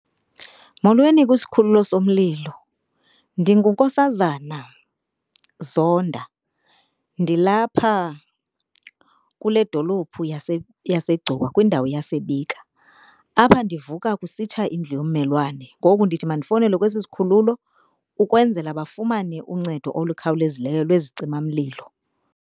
Molweni kwisikhululo somlilo. NdinguNkosazana Zonda, ndilapha kule dolophu yaseGcuwa kwindawo yaseBika. Apha ndivuka kusitsha indlu yommelwane, ngoku ndithi mandifowunele kwesi sikhululo ukwenzela bafumane uncedo olukhawulezileyo lwezicimamlilo.